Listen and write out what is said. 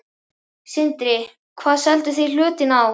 Sindri: Hvað selduð þið hlutinn á?